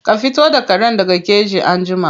Ka fito da karen daga keji anjima.